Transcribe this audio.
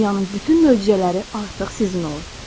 Və dünyanın bütün möcüzələri artıq sizin olur.